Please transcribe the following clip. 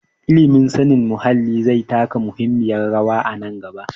Ilimin sanin muhalli zai taka muhimmiyar rawa a nan gaba.